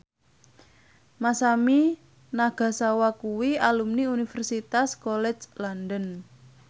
Masami Nagasawa kuwi alumni Universitas College London